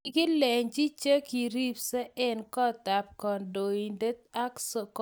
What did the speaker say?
kikilenchi che kiripse en kot ab kandoindet an kobakach koaten